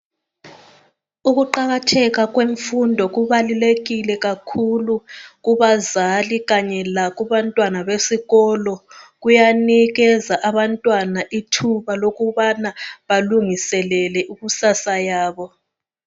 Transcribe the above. Ukuqakatheka kwemfundo kubalukekile kakhulu kubazali kanye lakubantwana besikolo kuyanikeza abantwana ithuba lokubana balungiselele ikusasa yabo.